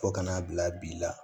Fo ka n'a bila bi la